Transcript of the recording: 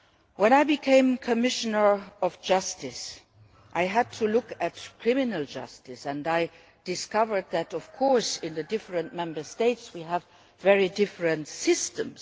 When I become Commissioner for Justice I had to look at criminal justice and I discovered that of course in the different Member States we have very different systems.